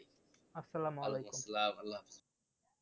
আস্সালামুআলাইকুম